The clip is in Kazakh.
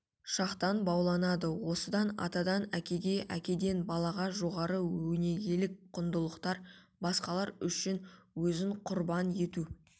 шақтан бауланады осында атадан әкеге әкеден балаға жоғары өнегелік құндылықтар басқалар үшін өзін құрбан ету